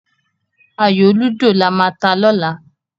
Ayò lúdò lama ta lọ́la.